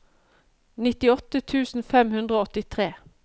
nittiåtte tusen fem hundre og åttitre